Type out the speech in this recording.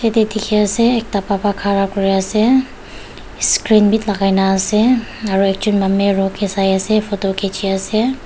yate dikhi ase ekta baba khara kuri ase screen bhi lagai na ase aru ekjon manu mirror ke sai ase photo khichi ase.